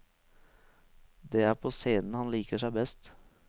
Det er på scenen han liker seg best.